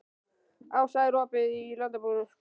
Ása, er opið í Landbúnaðarháskólanum?